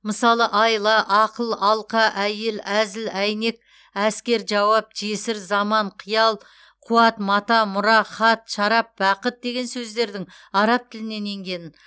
мысалы айла ақыл алқа әйел әзіл әйнек әскер жауап жесір заман қиял қуат мата мұра хат шарап бақыт деген сөздердің араб тілінен енгенін